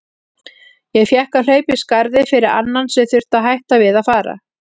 Ég fékk að hlaupa í skarðið fyrir annan sem þurfti að hætta við að fara.